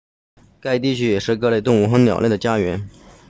该地区也是各类动物和鸟类的家园